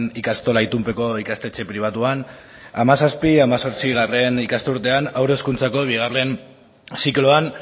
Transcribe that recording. ikastola itunpeko ikastetxe pribatuan hamazazpi hemezortzigarrena ikasturtean haur hezkuntzako bigarren zikloan